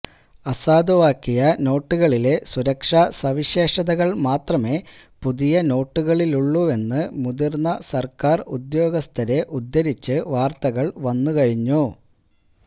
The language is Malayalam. അസാധുവാക്കിയ നോട്ടുകളിലെ സുരക്ഷാ സവിശേഷതകള് മാത്രമേ പുതിയ നോട്ടുകളിലുമുള്ളുവെന്ന് മുതിര്ന്ന സര്ക്കാര് ഉദ്യോഗസ്ഥരെ ഉദ്ധരിച്ചു വാര്ത്തകള് വന്നുകഴിഞ്ഞു